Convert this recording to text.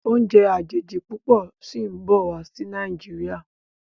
Oúnjẹ àjèjì púpọ sìn bó wá sí Nàìjíríà.